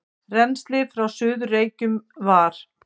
Rennslið frá Suður-Reykjum var